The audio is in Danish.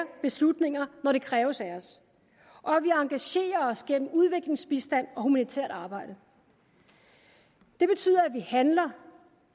beslutninger når det kræves af os og at vi engagerer os gennem udviklingsbistand og humanitært arbejde det betyder at vi handler